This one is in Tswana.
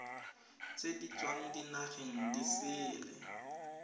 di tswang dinageng di sele